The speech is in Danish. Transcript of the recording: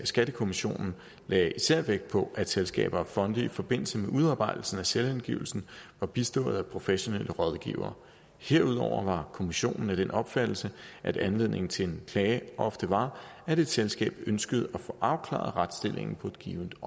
skattekommissionen lagde især vægt på at selskaber og fonde i forbindelse med udarbejdelsen af selvangivelsen var bistået af professionelle rådgivere herudover var kommissionen af den opfattelse at anledningen til en klage ofte var at et selskab ønskede at få afklaret retsstillingen på et givent